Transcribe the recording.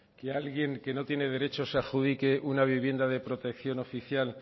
que alguien que no tiene derechos se adjudique una vivienda de protección oficial